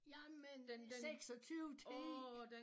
Jamen 26 10